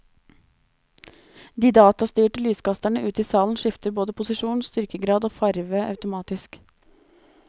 De data styrte lyskasterne ute i salen skifter både posisjon, styrkegrad og farve automatisk.